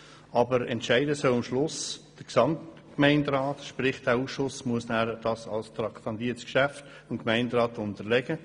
Am Schluss soll jedoch der Gesamtgemeinderat entscheiden, das heisst der Ausschuss muss dem Gemeinderat ein traktandiertes Geschäft unterbreiten.